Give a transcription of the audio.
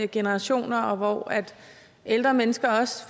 generationer og hvor ældre mennesker